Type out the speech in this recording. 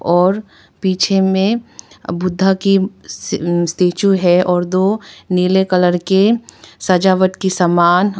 और पीछे में बुद्धा की स्टेचू है और दो नीले कलर के सजावट की समान--